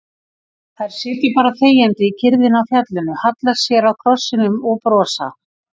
Þær sitja bara þegjandi í kyrrðinni á fjallinu, halla sér að krossinum og brosa.